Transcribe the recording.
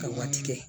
Ka waati kɛ